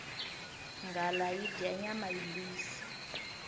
nghala yi dya nyama yimbisi